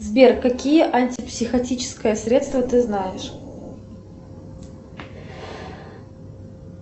сбер какие антипсихотическое средство ты знаешь